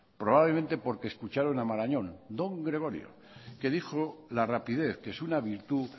probablemente porque escucharon a marañón don gregorio que dijo la rapidez que es una virtud